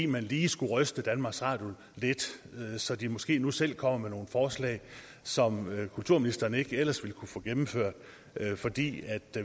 man lige skulle ryste danmarks radio lidt så de måske nu selv kommer med nogle forslag som kulturministeren ikke ellers ville kunne få gennemført fordi